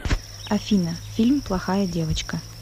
афина фильм плохая девочка